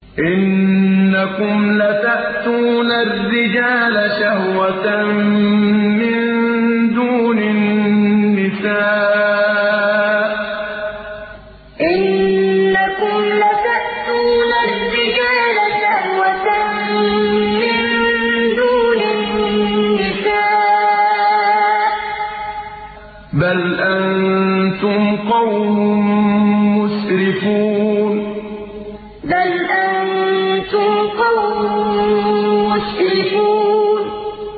إِنَّكُمْ لَتَأْتُونَ الرِّجَالَ شَهْوَةً مِّن دُونِ النِّسَاءِ ۚ بَلْ أَنتُمْ قَوْمٌ مُّسْرِفُونَ إِنَّكُمْ لَتَأْتُونَ الرِّجَالَ شَهْوَةً مِّن دُونِ النِّسَاءِ ۚ بَلْ أَنتُمْ قَوْمٌ مُّسْرِفُونَ